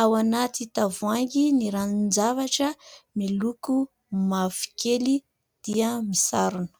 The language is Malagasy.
ao anaty tavoahangy ny ranon-javatra miloko mavokely dia misarona.